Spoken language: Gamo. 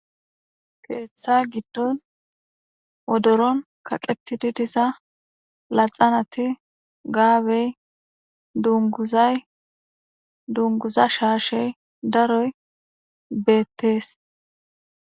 Keeththa giddon wodoron kaqettididiza laxanati gaabey dunguzay dunguza shaashey daroy beettees.